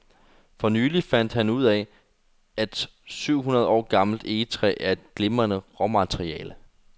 For nylig fandt han ud af, at syv hundrede år gammelt egetræ er et glimrende råmateriale.